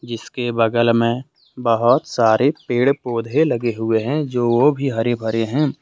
इसके बगल में बहुत सारे पेड़ पौधे लगे हुए है जो भी हरे भरे हैं।